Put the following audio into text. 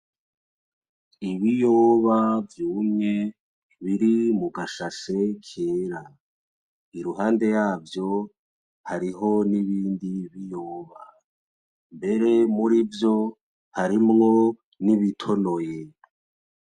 Ibiyoba vyumye biri mu gashashe kera. Iruhande yavyo hariho n'ibindi biyoba. Mbere muri vyo harimwo n'ibitonoye.